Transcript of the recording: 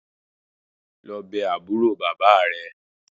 Lọ bé àbúrò bàbá rẹ̀!